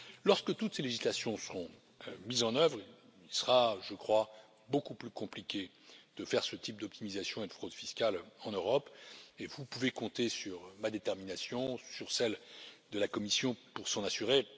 Lorsque toutes ces législations seront mises en œuvre, il sera, je crois, beaucoup plus compliqué de faire ce type d'optimisation et de fraude fiscales en Europe et vous pouvez compter sur ma détermination et sur celle de la Commission pour s'en assurer.